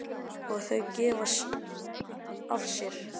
Og þau gefa af sér.